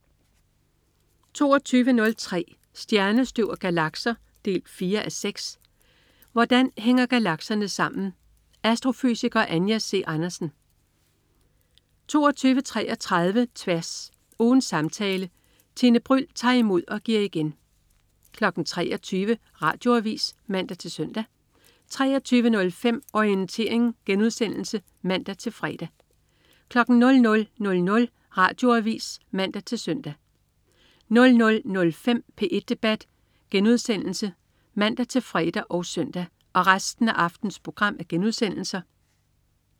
22.03 Stjernestøv og galakser 4:6. Hvordan hænger galakserne sammen? Astrofysiker Anja C. Andersen 22.33 Tværs. Ugens samtale. Tine Bryld tager imod og giver igen 23.00 Radioavis (man-søn) 23.05 Orientering* (man-fre) 00.00 Radioavis (man-søn) 00.05 P1 debat* (man-fre og søn)